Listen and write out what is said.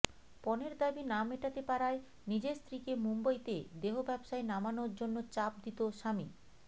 পণের দাবি না মেটাতে পারায় নিজের স্ত্রীকে মুম্বইতে দেহ ব্যবসায় নামানোর জন্য চাপ দিত স্বামী